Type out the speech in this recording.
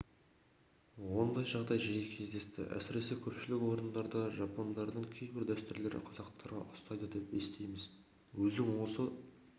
ондай жағдай жиі кездесті әсіресе көпшілік орындарда жапондықтардың кейбір дәстүрлері қазақтарға ұқсайды деп естиміз өзің осы